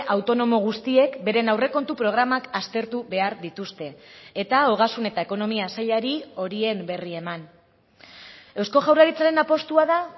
autonomo guztiek beren aurrekontu programak aztertu behar dituzte eta ogasun eta ekonomia sailari horien berri eman eusko jaurlaritzaren apustua da